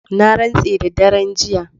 Na rantse da daren jiya.